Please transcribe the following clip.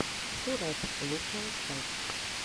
шурэп лучшая часть